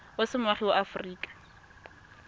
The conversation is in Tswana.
o se moagi wa aforika